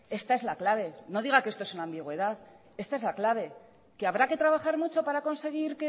esta es la clave no diga que esto es una ambigüedad esta es la clave que habrá que trabajar mucho para conseguir